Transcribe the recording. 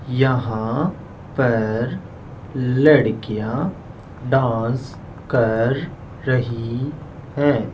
यहां पर लड़कियां डांस कर रही हैं।